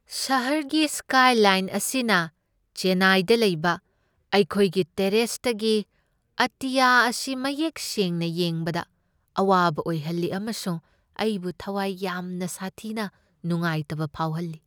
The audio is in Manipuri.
ꯁꯍꯔꯒꯤ ꯁ꯭ꯀꯥꯏꯂꯥꯏꯟ ꯑꯁꯤꯅ ꯆꯦꯟꯅꯥꯏꯗ ꯂꯩꯕ ꯑꯩꯈꯣꯏꯒꯤ ꯇꯦꯔꯦꯁꯇꯒꯤ ꯑꯇꯤꯌꯥ ꯑꯁꯤ ꯃꯌꯦꯛ ꯁꯦꯡꯅ ꯌꯦꯡꯕꯗ ꯑꯋꯥꯕ ꯑꯣꯏꯍꯜꯂꯤ ꯑꯃꯁꯨꯡ ꯑꯩꯕꯨ ꯊꯋꯥꯏ ꯌꯥꯝꯅ ꯁꯥꯊꯤꯅ ꯅꯨꯡꯉꯥꯏꯇꯕ ꯐꯥꯎꯍꯜꯂꯤ꯫